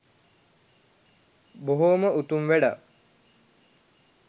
බොහොම උතුම් වැඩක්.